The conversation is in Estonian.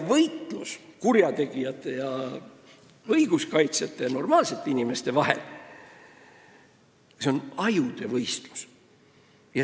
Võitlus kurjategijate ja õiguse kaitsjate, normaalsete inimeste vahel on ajude võistlus.